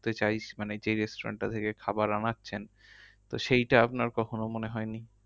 ঢুকতে চাই মানে যেই restaurant টা থেকে খাবার আনাচ্ছেন তো সেইটা আপনার কখনো মনে হয় নি?